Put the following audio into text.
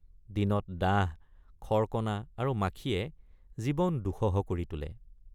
দিনত ডাঁহ খৰকণা আৰু মাখিয়ে জীৱন দুঃসহ কৰি তোলে।